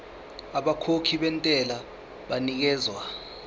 abakhokhi bentela banikezwa